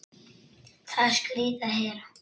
Það er skrýtið að heyra.